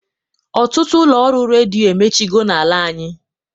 Ọtụtụ ụlọ ọrụ redio emechigo na-ala anyị.